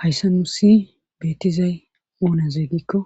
hayssa nuusi beettizay oonaze gikko